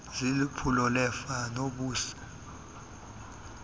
ziliphulo lerfa nbc